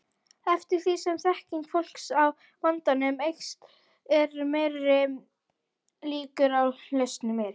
Eftir því sem þekking fólks á vandanum eykst eru meiri líkur á lausnum.